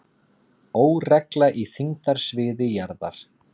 Óregla í þyngdarsviði jarðar